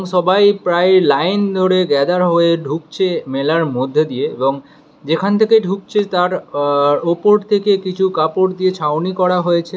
সবাই প্রায় লাইন ধরে গ্যাদার হয়ে ঢুকছে মেলার মধ্যে দিয়ে এবং যেখান থেকে ঢুকছে তার আ ওপর থেকে কিছু কাপড় দিয়ে ছাউনি করা হয়েছে।